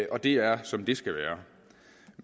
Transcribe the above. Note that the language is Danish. og det er som det skal være